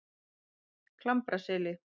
Klambraseli